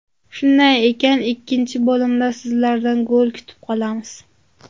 Shunday ekan, ikkinchi bo‘limda sizlardan gol kutib qolamiz!